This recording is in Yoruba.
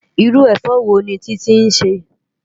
Irú efò wóni Titi nsè?